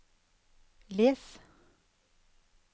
les